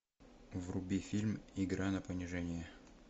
вруби фильм игра на понижение